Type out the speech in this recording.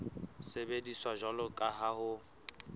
sebediswa jwalo ka ha ho